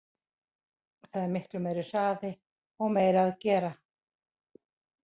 Það er miklu meiri hraði og meira að gera.